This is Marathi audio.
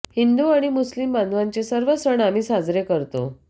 हिंदू आणि मुस्लीम बांधवांचे सर्व सण आम्ही साजरे करतो